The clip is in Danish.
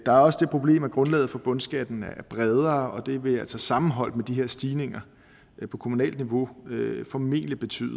er også det problem at grundlaget for bundskatten er bredere og det vil altså sammenholdt med de her stigninger på kommunalt niveau formentlig betyde